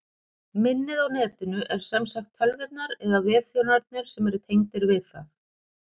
Minnið á Netinu er sem sagt tölvurnar eða vefþjónarnir sem eru tengdir við það.